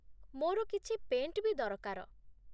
ମୋର କିଛି ପେଣ୍ଟ୍ ବି ଦରକାର ।